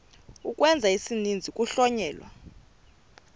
ukwenza isininzi kuhlonyelwa